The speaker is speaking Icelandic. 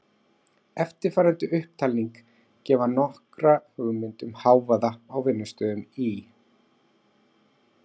Eftirfarandi upptalning gefur nokkra hugmynd um hávaða á vinnustöðum í